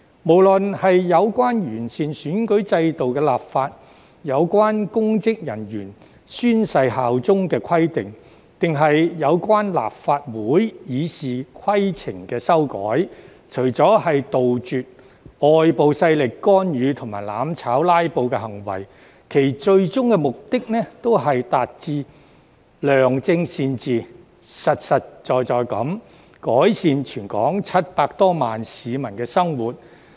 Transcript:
無論是有關完善選舉制度的立法、有關公職人員宣誓效忠的規定，還是有關立法會《議事規則》的修改，除了要杜絕外部勢力干預、"攬炒"及"拉布"行為，其最終目的都是達致良政善治，實實在在地改善全港700多萬名市民的生活。